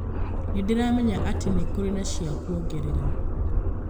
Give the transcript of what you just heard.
nĩndiramenya atĩ nikũrĩ na cĩakũongerera